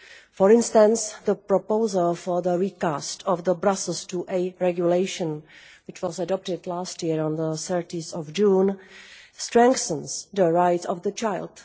For instance the proposal for the recast of the Brussels IIA Regulation, which was adopted last year on 30 June, strengthens the rights of the child.